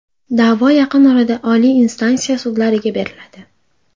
Da’vo yaqin orada oliy instansiya sudlariga beriladi.